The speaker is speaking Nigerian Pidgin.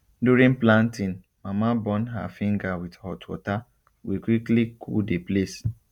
during planting mama burn her finger with hot water we quickly cool the place